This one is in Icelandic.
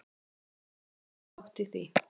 Þú átt þinn þátt í því.